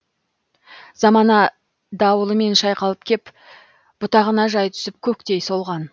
замана дауылымен шайқалып кеп бұтағына жай түсіп көктей солған